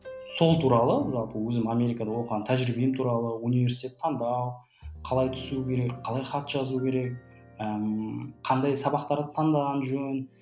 сол туралы жалпы өзім америкада оқыған тәжірибем туралы университет таңдау қалай түсу керек қалай хат жазу керек ыыы қандай сабақтар ы таңдаған жөн